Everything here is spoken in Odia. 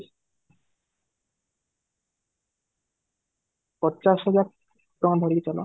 ପଚାଶ ହଜାର ଟଙ୍କା ଧରିକି ଚାଲ